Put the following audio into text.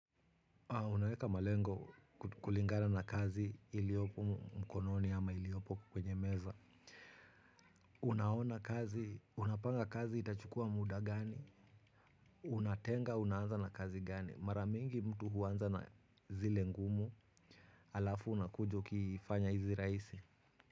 Unaweka malengo kulingana na kazi iliopo mkononi ama iliopo kwenye meza. Unaona kazi unapanga kazi itachukua muda gani. Unatenga unaanza na kazi gani mara mingi mtu huanza na zile ngumu halafu unakuja ukifanya hizi rahisi.